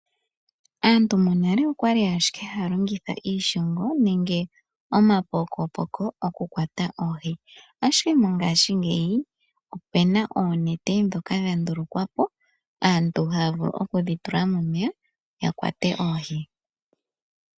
Aantu monale okwali ashike haya longitha iishongo nenge omapokopoko okukwata oohi. Ashike mongashingeyi ope na oonete dhoka dha ndulukwa po, aantu haya vulu oku dhi tula momeya ya kwate oohi.